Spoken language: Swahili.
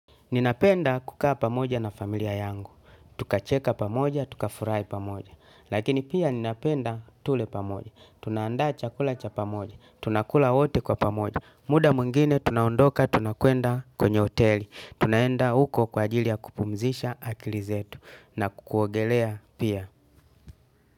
Ninapenda kukaa pamoja na familia yangu, tukacheka pamoja, tukafurahi pamoja, lakini pia ninapenda tule pamoja, tunaandaa chakula cha pamoja, tunakula wote kwa pamoja, muda mwingine tunaondoka tunakwenda kwenye hoteli, tunaenda huko kwa ajili ya kupumzisha akili zetu na kuogelea pia.